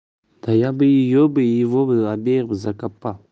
да я бы её бы его было обеих закапал